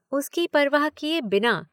उसकी परवाह किए बिना।